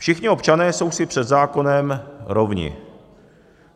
Všichni občané jsou si před zákonem rovni.